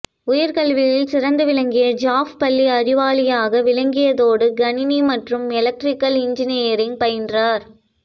உயர் கல்வியில் சிறந்து விளங்கிய ஜெஃப் பள்ளியில் அறிவாளியாக விளங்கியதோடு கணினி மற்றும் எலக்ட்ரிக்கல் இனஜினியரிங் பயின்றார்